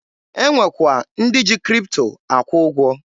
E nwekwa ndị ji Kripto akwụ ụgwọ